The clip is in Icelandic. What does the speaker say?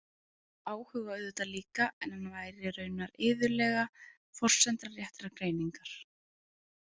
Áhuga auðvitað líka en hann væri raunar iðulega forsenda réttrar greiningar.